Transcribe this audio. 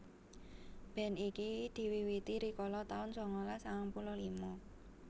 Band iki diwiwiti rikala taun sangalas sangang puluh lima